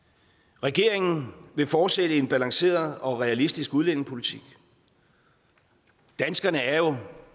regeringen vil fortsætte en balanceret og realistisk udlændingepolitik danskerne er jo